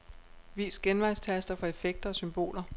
Vis genvejstaster for effekter og symboler.